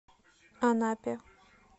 анапе